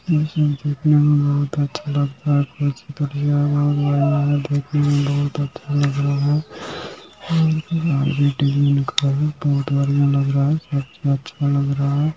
बहुत बढ़िया लग रहा है अच्छा लग रहा है।